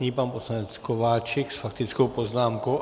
Nyní pan poslanec Kováčik s faktickou poznámkou.